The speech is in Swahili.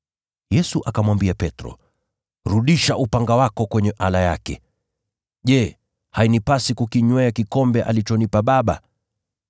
Yesu akamwambia Petro, “Rudisha upanga wako kwenye ala yake. Je, hainipasi kukinywea kikombe alichonipa Baba?”